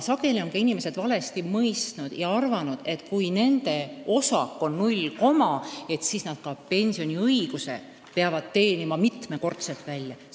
Sageli on inimesed seda valesti mõistnud ja arvanud, et kui nende osak on näiteks 0,5, siis nad ka pensioniõiguse peavad mitmekordselt välja teenima.